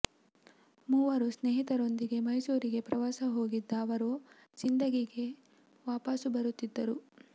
ಮೂವರು ಸ್ನೇಹಿತರೊಂದಿಗೆ ಮೈಸೂ ರಿಗೆ ಪ್ರವಾಸ ಹೋಗಿದ್ದ ಅವರು ಸಿಂದ ಗಿಗೆ ವಾಪಸ್ ಬರುತ್ತಿದ್ದರು